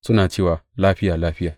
Suna cewa, Lafiya, Lafiya,’